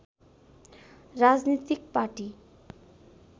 राजनीतिक पाटी